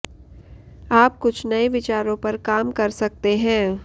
आप कुछ नये विचारों पर काम कर सकते हैं